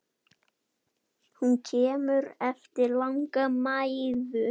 Hún kemur eftir langa mæðu.